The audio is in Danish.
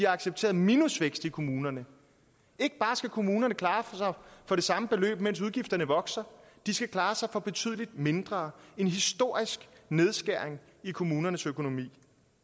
accepteret minusvækst i kommunerne ikke bare skal kommunerne klare sig for det samme beløb mens udgifterne vokser de skal klare sig for betydelig mindre en historisk nedskæring i kommunernes økonomi